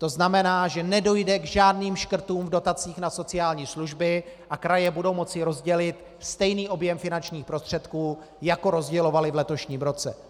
To znamená, že nedojde k žádným škrtům v dotacích na sociální služby a kraje budou moci rozdělit stejný objem finančních prostředků, jako rozdělovaly v letošním roce.